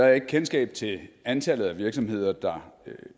jeg ikke kendskab til antallet af virksomheder der